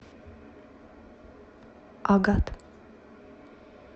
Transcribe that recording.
агат